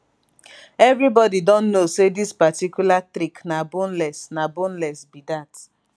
evribodi don know say dis particular trick na boneless na boneless be dat